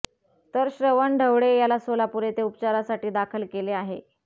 तर श्रवण ढवळे याला सोलापूर येथे उपचारासाठी दाखल केले आहे